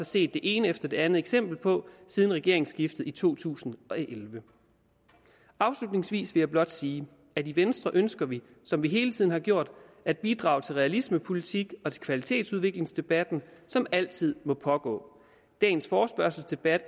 set det ene efter det andet eksempel på siden regeringsskiftet i to tusind og elleve afslutningsvis vil jeg blot sige at i venstre ønsker vi som vi hele tiden har gjort at bidrage til realismepolitik og til den kvalitetsudviklingsdebat som altid må pågå dagens forespørgselsdebat